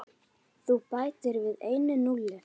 Þú bætir við einu núlli.